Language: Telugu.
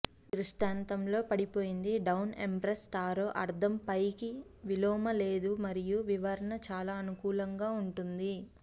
దృష్టాంతంలో లో పడిపోయింది డౌన్ ఎంప్రెస్ టారో అర్థం పైకి విలోమ లేదు మరియు వివరణ చాలా అనుకూలంగా ఉంటుంది